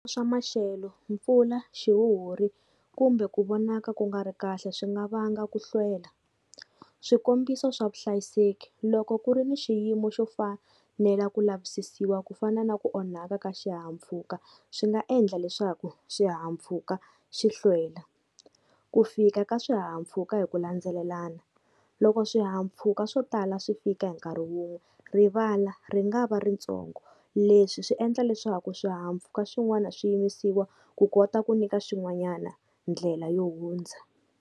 Swa maxelo mpfula, xihuhuri kumbe ku vonaka ku nga ri kahle swi nga vanga ku hlwela. Swikombiso swa vuhlayiseki, loko ku ri ni xiyimo xo fanela ku lavisisiwa ku fana na ku onhaka ka xihahampfhuka, swi nga endla leswaku xihahampfhuka xi hlwela. Ku fika ka swihahampfhuka hi ku landzelelana, loko swihahampfhuka swo tala swi fika hi nkarhi wun'we rivala ri nga va ritsongo, leswi swi endla leswaku swihahampfhuka swin'wana swi yimisiwa ku kota ku nyika xin'wanyana ndlela yo hundza.